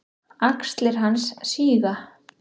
Axlir hans síga.